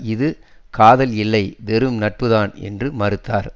இது காதல் இல்லை வெறும் நட்புதான் என்று மறுத்தார்